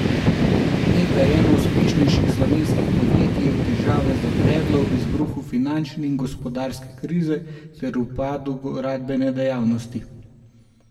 Nekdaj eno uspešnejših slovenskih podjetij je v težave zabredlo ob izbruhu finančne in gospodarske krize ter upadu gradbene dejavnosti.